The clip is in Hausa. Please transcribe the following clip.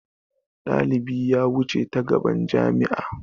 Dalibi ya wuce ta gaban jami'a.